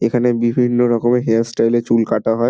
এখানে বিভিন্ন রকমে হেয়ার স্টাইল -এ চুল কাটা হয়।